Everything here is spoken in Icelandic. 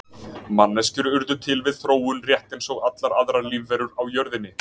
Manneskjur urðu til við þróun rétt eins og allar aðrar lífverur á jörðinni.